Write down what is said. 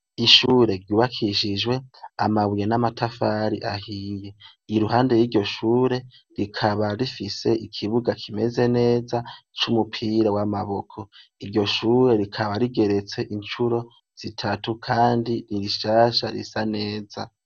Ishure ryubakishijwe amabuye n'amatafari ahiye, iruhande y'iryo shure rikaba rifise ikibuga kimeze neza c'umpira w'amaboko, iryo shure rikaba rigeretse incuro zitatu kandi ni rishasha risa neza.